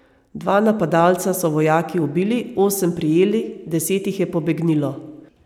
Dva napadalca so vojaki ubili, osem prijeli, deset jih je pobegnilo.